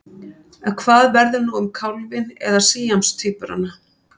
En hvað verður nú um kálfinn eða síamstvíburana?